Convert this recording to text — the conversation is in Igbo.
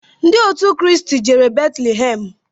Ndị òtù Christ jere Betulhem.